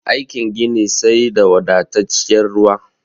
Aikin gini sai da wadatacciyar ruwa